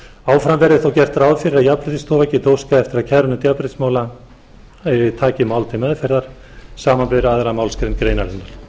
áfram verði þó gert ráð fyrir að jafnréttisstofa geti óskað eftir að kærunefnd jafnréttismála taki mál til meðferðar samanber aðra málsgrein greinarinnar